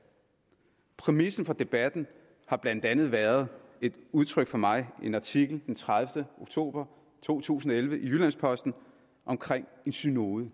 præmissen for debatten har blandt andet været et udtryk fra mig i en artikel den tredivete oktober to tusind og elleve i jyllands posten omkring en synode